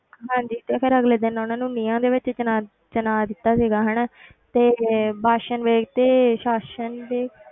ਹਾਂਜੀ ਤੇ ਫਿਰ ਅਗਲੇ ਦਿਨ ਉਹਨਾਂ ਨੂੰ ਨੀਹਾਂ ਦੇ ਵਿੱਚ ਚਿਣਾ ਚਿਣਵਾ ਦਿੱਤਾ ਸੀਗਾ ਹਨਾ ਤੇ ਬਾਸਨ ਵੇਗ ਤੇ ਸਾਸਨ ਵੇਗ